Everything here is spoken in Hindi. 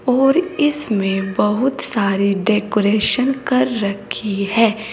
और इसमें बहुत सारे डेकोरेशन कर रखी है।